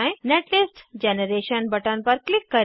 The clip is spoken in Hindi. नेटलिस्ट जनरेशन बटन पर क्लिक करें